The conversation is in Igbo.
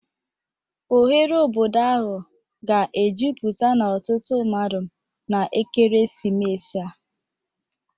Oghere obodo ahụ ga-ejupụta na ọtụtụ mmadụ na ekeresimesi a.